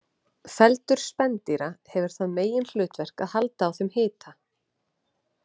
Feldur spendýra hefur það meginhlutverk að halda á þeim hita.